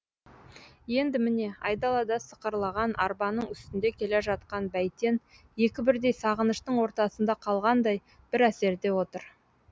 енді міне айдалада сықырлаған арбаның үстінде келе жатқан бәйтен екі бірдей сағыныштың ортасында қалғандай бір әсерде отыр